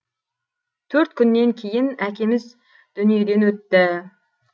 төрт күннен кейін әкеміз дүниеден өтті